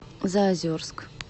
заозерск